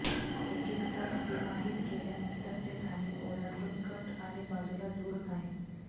एक एक तास तिमाहीत केल्यानंतर ते धान्य ओलांडून कट आणि बाजूला दूर आहे